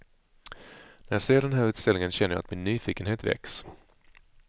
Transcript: När jag ser den här utställningen känner jag att min nyfikenhet väcks.